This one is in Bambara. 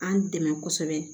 An dɛmɛ kosɛbɛ